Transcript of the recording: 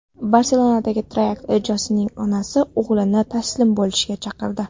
Barselonadagi terakt ijrochisining onasi o‘g‘lini taslim bo‘lishga chaqirdi.